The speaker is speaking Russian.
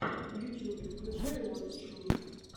в ютюбе включай уотч ми